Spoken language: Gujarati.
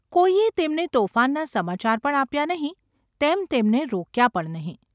કોઈએ તેમને તોફાનના સમાચાર પણ આપ્યા નહિ, તેમ તેમને રોક્યા પણ નહિ.